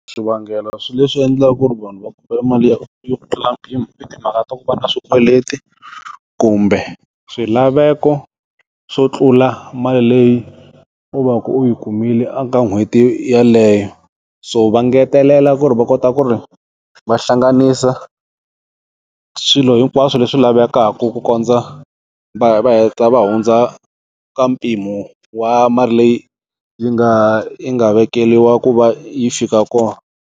Swivangelo swi leswi endlaka ku ri vanhu va kuma mali ya yo tlula mpimo i timhaka ta ku va na swikweleti, kumbe swilaveko swo tlula mali leyi u va ku u yi kumile eka n'hweti yaleyo, so va ngetelela ku ri va kota ku ri vahlanganisa swilo hinkwaswo leswi lavekaka ku kondza va heta va hundza ka mpimo wa mali leyi yi nga yi nga vekeliwa ku va yi fika kona.